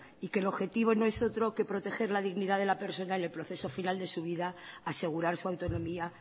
y que el objetivo no es otro que proteger la dignidad de la persona en el proceso final de su vida asegurar su autonomía